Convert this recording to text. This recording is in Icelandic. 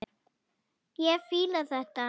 Ég fíla þetta.